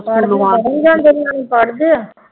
ਪੜ੍ਹਦੇ ਹੈ